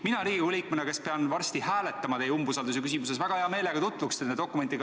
Mina Riigikogu liikmena, kes pean varsti hääletama teie umbusaldamise küsimuses, väga hea meelega tutvuksin nende dokumentidega.